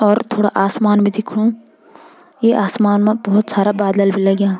और थोड़ा आसमान भी दिखणु ये आसमान माँ भोत सारा बादल भी लग्याँ।